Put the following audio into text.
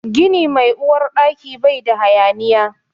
Gini mai Uwar Ɗaki bai da hayaniya.